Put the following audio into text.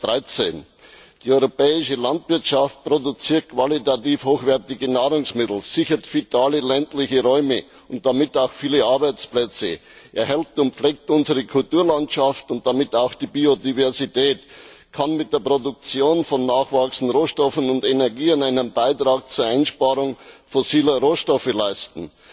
2013. Die europäische Landwirtschaft produziert qualitativ hochwertige Nahrungsmittel, sichert vitale ländliche Räume und damit auch viele Arbeitsplätze, erhält und pflegt unsere Kulturlandschaft und damit auch die Biodiversität, kann mit der Produktion von nachwachsenden Rohstoffen und Energien einen Beitrag zur Einsparung fossiler Rohstoffe leisten.